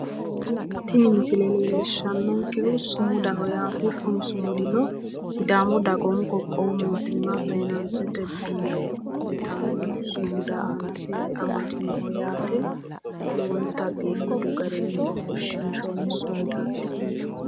tini misile leellishshannonkehu sumudaho yaate kuni sumudino sidaamu dagoomu qoqowu mootimma fanansete biiro yitanno sumuda aanase amadiniho yaate lowonta biifadu garinni ofoshshiinshoonni sumudaati.